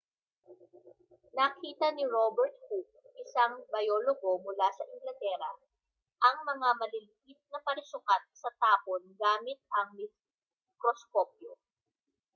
nakita ni robert hooke isang biologo mula sa inglatera ang mga maliliit na parisukat sa tapon gamit ang mikroskopyo